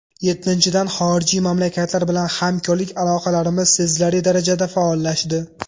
Yettinchidan, xorijiy mamlakatlar bilan hamkorlik aloqalarimiz sezilarli darajada faollashdi.